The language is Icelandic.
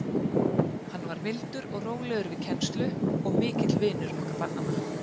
Hann var mildur og rólegur við kennslu og mikill vinur okkar barnanna.